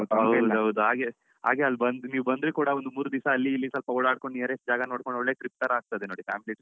ಹೌದು ಹೌದು ಹಾಗೆ ಅಲ್ಬಂದ್ ನೀವ್ ಬಂದ್ರು ಕೂಡ ಮೂರ್ ದಿವ್ಸಅಲ್ಲಿ ಇಲ್ಲಿ ಸ್ವಲ್ಪ ಓಡಾಡ್ಕೊಂಡು nearest ಜಾಗ ನೋಡ್ಕೊಂಡು ಒಳ್ಳೆ tripತರ ಆಗ್ತದೆ ನೋಡಿfamily tripತರ ಆಗ್ತದೆ